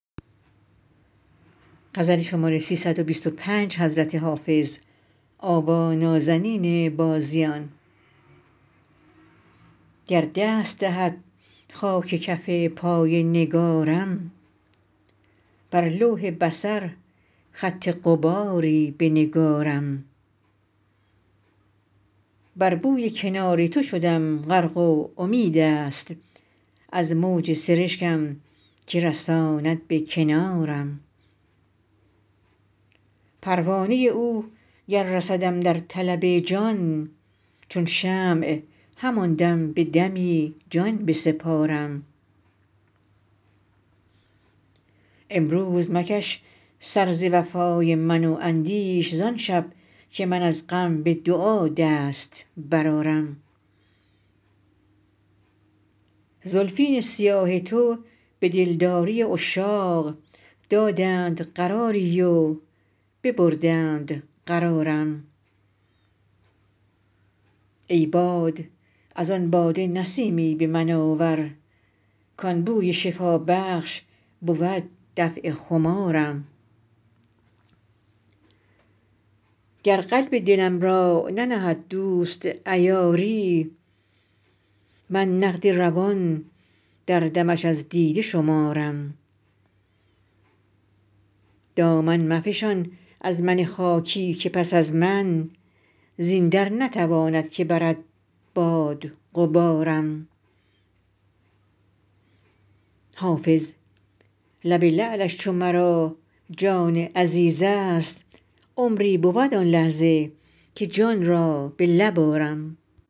گر دست دهد خاک کف پای نگارم بر لوح بصر خط غباری بنگارم بر بوی کنار تو شدم غرق و امید است از موج سرشکم که رساند به کنارم پروانه او گر رسدم در طلب جان چون شمع همان دم به دمی جان بسپارم امروز مکش سر ز وفای من و اندیش زان شب که من از غم به دعا دست برآرم زلفین سیاه تو به دلداری عشاق دادند قراری و ببردند قرارم ای باد از آن باده نسیمی به من آور کان بوی شفابخش بود دفع خمارم گر قلب دلم را ننهد دوست عیاری من نقد روان در دمش از دیده شمارم دامن مفشان از من خاکی که پس از من زین در نتواند که برد باد غبارم حافظ لب لعلش چو مرا جان عزیز است عمری بود آن لحظه که جان را به لب آرم